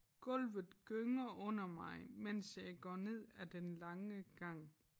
Gulvet gynger under mig mens jeg går ned ad den lange gang